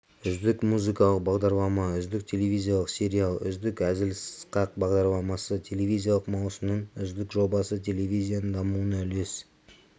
үздік музыкалық бағдарлама үздік телевизиялық сериал үздік әзіл-сықақ бағдарламасы телевизиялық маусымның үздік жобасы телевизияның дамуына үлес